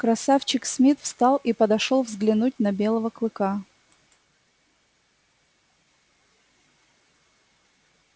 красавчик смит встал и подошёл взглянуть на белого клыка